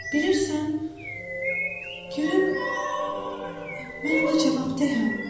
Bilirsən, gülüm, mən ona cavabdehəm.